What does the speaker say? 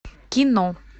кино